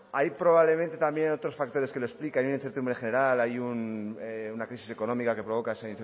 hay probablemente otros factores que lo explican y una incertidumbre general hay una crisis económica que provoca esa